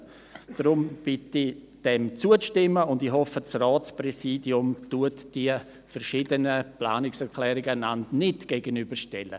Deshalb bitte ich um Zustimmung und hoffe, das Ratspräsidium stelle die verschiedenen Planungserklärungen einander gegenüber.